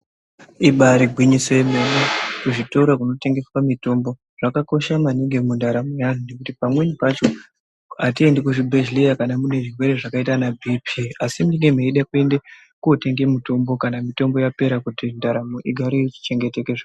Ibaari gwinyiso yemene kuzvitoro zvinotengeswa mitombo zvakakosha maningi mundaramo yevanhu nekuti pamweni pacho hatiendi kuzvibhedhleya kana mune zvirwere zvakaita ana bhiipii asi munee meida kuotenge mitombo kana yapera kuti ndaramo igare ichichengeteke...